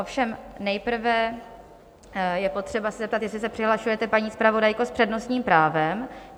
Ovšem nejprve je potřeba se zeptat, jestli se přihlašujete, paní zpravodajko, s přednostním právem?